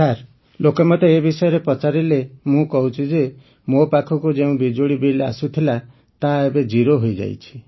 sir ଲୋକେ ମୋତେ ଏ ବିଷୟରେ ପଚାରିଲେ ମୁଁ କହୁଛି ଯେ ମୋ ପାଖକୁ ଯେଉଁ ବିଜୁଳି ବିଲ୍ ଆସୁଥିଲା ତାହା ଏବେ ଜିରୋ ହୋଇଯାଇଛି